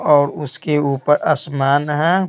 और उसके ऊपर आसमान है।